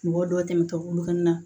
Mɔgɔ dɔw tɛmɛtɔ na